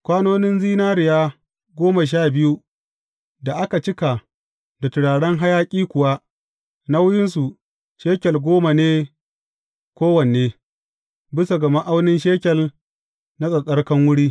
Kwanonin zinariya goma sha biyu da aka cika da turaren hayaƙi kuwa, nauyinsu shekel goma ne kowanne, bisa ga ma’aunin shekel na tsattsarkan wuri.